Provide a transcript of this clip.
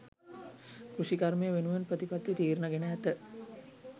කෘෂිකර්මය වෙනුවෙන් ප්‍රතිපත්ති තීරණ ගෙන ඇත